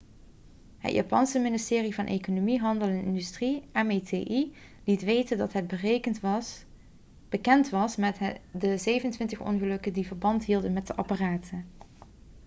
het japanse ministerie van economie handel en industrie meti liet weten dat het bekend was met de 27 ongelukken die verband hielden met de apparaten